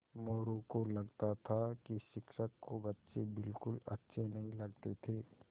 मोरू को लगता था कि शिक्षक को बच्चे बिलकुल अच्छे नहीं लगते थे